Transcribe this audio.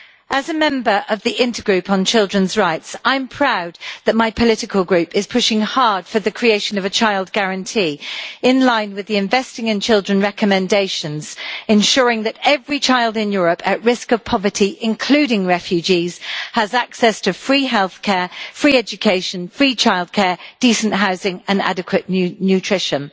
As a member of the Intergroup on Children's Rights, I am proud that my political group is pushing hard for the creation of a child guarantee, in line with the Investing in Children Recommendations, ensuring that every child in Europe at risk of poverty including refugees has access to free healthcare, free education, free childcare, decent housing and adequate nutrition.